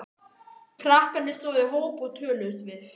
Krakkarnir stóðu í hóp og töluðust við.